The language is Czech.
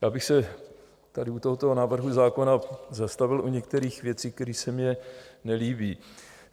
Já bych se tady u tohoto návrhu zákona zastavil u některých věcí, které se mně nelíbí.